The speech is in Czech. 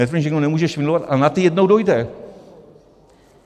Netvrdím, že někdo nemůže švindlovat, ale na ty jednou dojde.